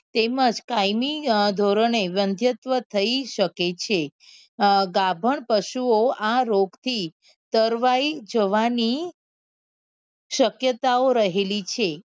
તેમજ કાયમી ધોરણેઘંધ્ય્ત્વ થઇ શકે છે અ ગાભણ પશુ ઓ આ રોગ થી તરવાઈ જવા ની શક્યતા ઓ રહેલી છે